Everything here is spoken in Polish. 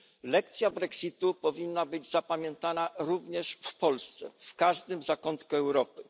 Lekcja brexitu powinna być zapamiętana również w Polsce, w każdym zakątku Europy.